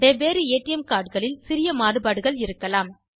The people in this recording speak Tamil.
வெவ்வேறு ஏடிஎம் cardகளில் சிறிய மாறுபாடுகள் இருக்கலாம்